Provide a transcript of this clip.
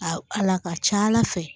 A a la ka ca ala fɛ